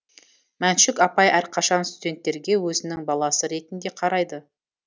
мәншүк апай әрқашан студенттерге өзінің баласы ретінде қарайды